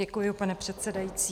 Děkuji, pane předsedající.